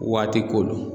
Waati ko don